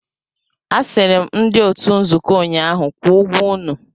Asịrị m ndị otu nzuko ụnyaahụ, kwụọ ụgwọ unu!